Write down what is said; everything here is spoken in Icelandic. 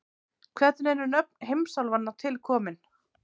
hvernig eru nöfn heimsálfanna til komin